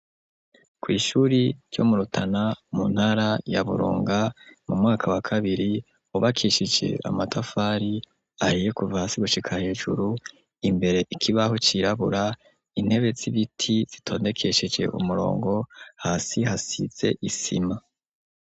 Ku ishure ryo murutana mu ntara ya burunga mu mwaka wa kabiri hubakishije amatafari ahiye kuva hasi gushika hejuru imbere ikibaho cirabura intebe z'ibiti zitondekesheje umurongo hasi hasize isima.